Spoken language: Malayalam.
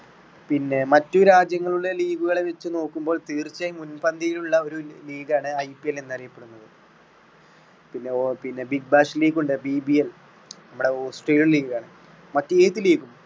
പിന്നെ മറ്റു രാജ്യങ്ങളിലെ league കളെ വെച്ച് നോക്കുമ്പോൾ തീർച്ചയായും മുൻപന്തിയിലുള്ള ഒരു league ആണ് IPL എന്ന് അറിയപ്പെടുന്നത് പിന്നെ~പിന്നെ big bash league ഉണ്ട് BBL നമ്മുടെ australian league ആണ് മറ്റ് ഏത് league ഉം.